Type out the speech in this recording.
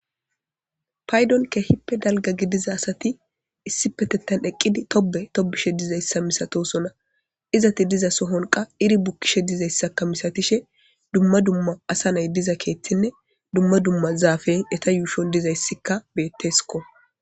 Paydonke hippe dalga gidiza asati issi petettan eqqidi tobe tobishe dizayssa misatosona izati diza sohonqa iri bukkishe dizayssakka misatishe dumma dumma asa nay diza keeththinne dumma dumma zaafen eta yuushon dizayssikka betteskko.